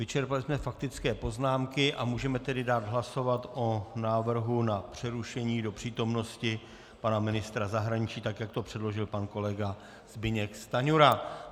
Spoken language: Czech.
Vyčerpali jsme faktické poznámky a můžeme tedy dát hlasovat o návrhu na přerušení do přítomnosti pana ministra zahraničí, tak jak to předložil pan kolega Zbyněk Stanjura.